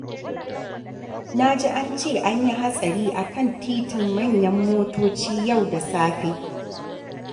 Na ji an ce an yi hatsari a kan titin manyan motoci yau da safe.